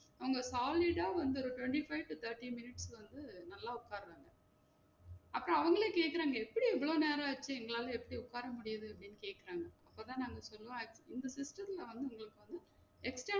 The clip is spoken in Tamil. நாங்க solid ஆ வந்து ஒரு twenty-five to thirty minutes வந்து நல்லா உக்காறாங்க அப்போ அவுங்களே கேட்டாங்க எப்படி இவ்ளோ நேரம் ஆச்சி உங்களால எப்படி உக்கார முடியுது அப்டின்னு கேக்குறாங்க. அப்போத நாங்க சொன்னோ